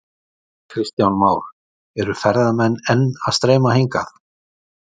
Kristján Már: Eru ferðamenn enn að streyma hingað?